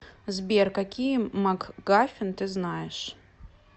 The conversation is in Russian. сбер какие макгафин ты знаешь